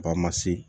Ba ma se